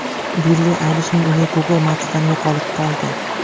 Billi Aylishning uyi Google Maps’dan yo‘qolib qoldi.